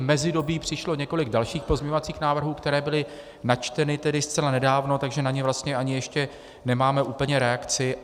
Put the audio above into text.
V mezidobí přišlo několik dalších pozměňovacích návrhů, které byly načteny tedy zcela nedávno, takže na ně vlastně ani ještě nemáme úplně reakci.